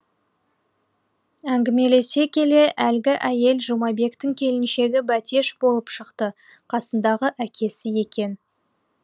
әңгімелесе келе әлгі әйел жұмабектің келіншегі бәтеш болып шықты қасындағы әкесі екен